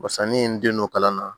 Barisa n'i ye n den don kalan na